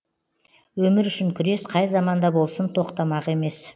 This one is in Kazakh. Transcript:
өмір үшін күрес қай заманда болсын тоқтамақ емес